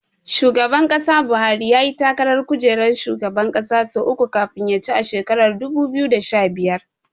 Shugaba Buhari yayi takarar kujerar shugaban ƙasa sau uku kafin ya ci a shekarar dubu biyu da sha biyar.